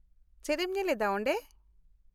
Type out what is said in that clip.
ᱪᱮᱫ ᱮᱢ ᱧᱮᱞ ᱮᱫᱟ ᱚᱸᱰᱮ ?